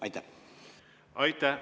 Aitäh!